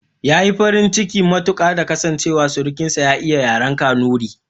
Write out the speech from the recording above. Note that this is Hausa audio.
Yayi farin ciki matuƙa da ta kasance surukin sa ya iya yaren kanuri